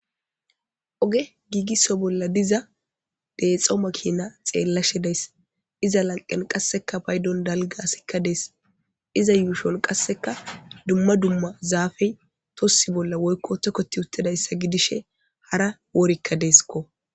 Oge giigisso bolla diza deexo makina xeellashe days iza lanqen qasseka paydon dalgasikka dees iza yuushon qasseka dumma dumma zaafey tossi bolla woykko tokkoti uttidayssa gidishe hara woorikka deeskko.